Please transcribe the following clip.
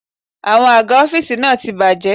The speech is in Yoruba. Àwọn àga ọ́fíìsì náà ti bàjé.